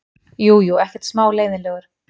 Jú, jú, ekkert smá leiðinlegur.